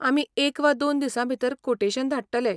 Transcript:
आमी एक वा दोन दिसां भितर कोटेशन धाडटले.